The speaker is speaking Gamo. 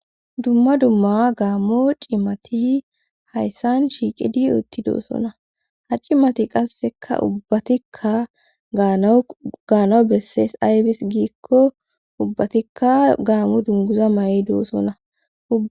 Dumma dumma gaamo cimati hayssan shiiqidi utti doosona ha cimati qasseka ubbatikka nawugaanawu bessees ayfis giikko ubbatikka gaammo dunguza may,i doossona.